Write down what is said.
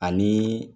Ani